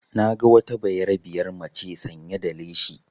Na ga wata bayarabiyar maca sanya da leshi